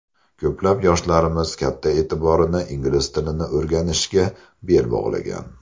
Ko‘plab yoshlarimiz katta e’tiborini ingliz tilini o‘rganishga bel bog‘lagan.